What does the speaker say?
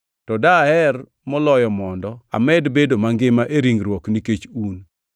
to daher moloyo mondo amed bedo mangima e ringruok nikech un.